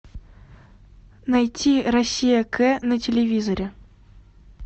найти россия к на телевизоре